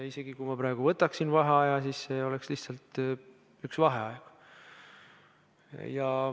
Isegi kui ma praegu võtaksin vaheaja, siis see oleks lihtsalt üks vaheaeg.